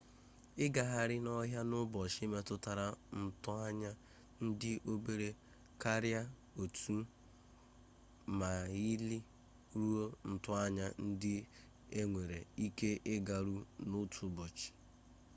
ịgagharị n'ọhịa n'ụbọchị metụtara ntoanya dị obere karịa otu maịlị ruo ntoanya ndị enwere ike ịgarụ n'otu ụbọchị